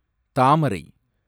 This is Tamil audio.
தாமரை